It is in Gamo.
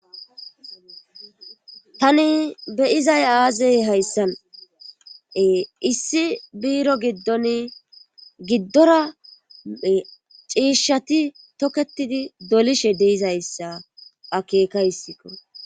tani beyizay aazey hayssane issi biiro giddon giddorae ciishshati toketidi dolishe deizayssa akeeka hissikko